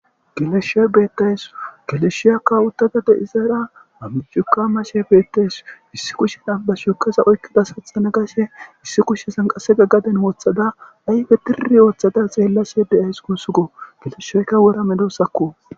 Geleshshoy bettaysu galeshshiyakkawuttadade izara amucuka mashe beettays issi kushena bashuokaza oykkida saxa na gashe issi kushe sanqasega gaden woooththada ayfe tiri ooththada xeellase de7ays kusugo geleshsheykka wora medosakko.